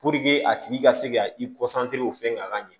a tigi ka se ka i fɛn ka ɲɛ